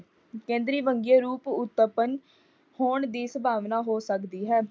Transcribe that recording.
ਕੇਂਦਰੀਏ ਵੰਨਗੀਏ ਰੂਪ ਉਤਪੰਨ ਹੋਣ ਦੀ ਸੰਭਵਾਨਾ ਹੋ ਸਕਦੀ ਹੈ।